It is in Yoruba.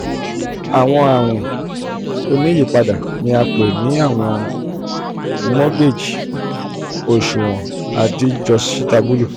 o ṣe awọn sisanwo ti o wa titi bi awọn oṣuwọn um dide.